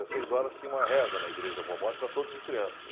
Às seis horas tinha uma reza na Igreja da Boa Morte para todos os crianças.